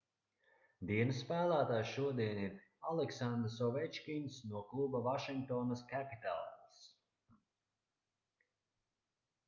dienas spēlētājs šodien ir aleksandrs ovečkins no kluba vašingtonas capitals